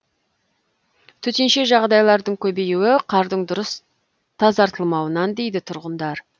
төтенше жағдайлардың көбеюі қардың дұрыс тазартылмауынан дейді тұрғындар